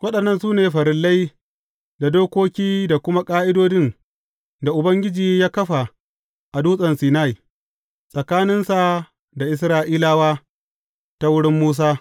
Waɗannan su ne farillai, da dokoki, da kuma ƙa’idodin da Ubangiji ya kafa a Dutsen Sinai, tsakaninsa da Isra’ilawa ta wurin Musa.